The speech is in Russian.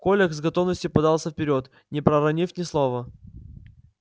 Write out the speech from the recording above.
коля с готовностью подался вперёд не проронив ни слова